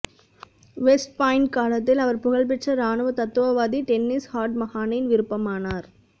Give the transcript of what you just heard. west Point காலத்தில் அவர் புகழ்பெற்ற இராணுவ தத்துவவாதி டென்னிஸ் ஹார்ட் மஹானின் விருப்பமானார்